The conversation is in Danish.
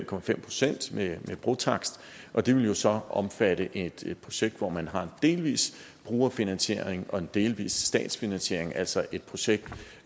på fem procent med brotakst og det vil jo så omfatte et projekt hvor man har en delvis brugerfinansiering og en delvis statsfinansiering altså et projekt